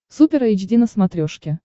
супер эйч ди на смотрешке